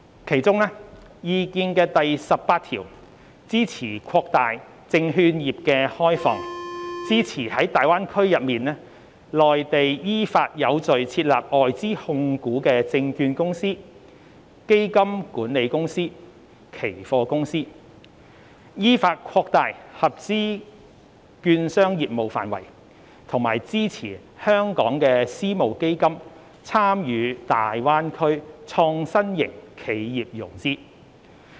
其中，《意見》第十八條支持擴大證券業開放，支持在大灣區內地依法有序地設立外資控股的證券公司、基金管理公司、期貨公司；依法擴大合資券商業務範圍；以及支持香港私募基金參與大灣區創新型企業融資。